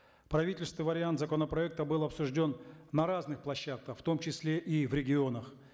правительственный вариант законопроекта был обсужден на разных площадках в том числе и в регионах